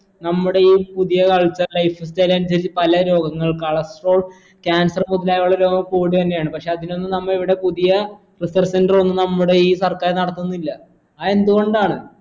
നമ്മുടെ ഈ പുതിയ culture life style അനുസരിച്ച് പല രോഗങ്ങൾ cholestrol cancer മുതലായുള്ള രോഗങ്ങൾ ക്കൂടെന്നാണ് പക്ഷെ അതിനൊന്നും നമ്മ ഇവിടെ പുതിയ research centre ഒന്നും നമ്മുടെ ഈ സർക്കാർ നടത്തുന്നില്ല അത് എന്തുകൊണ്ടാണ്